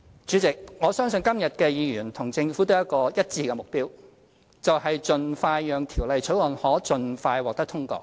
主席，我相信今天議員和政府都有一致的目標，就是讓《條例草案》盡快獲得通過。